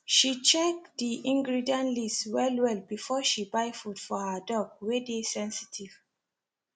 she check the ingredient list well well before she buy food for her dog wey dey sensitive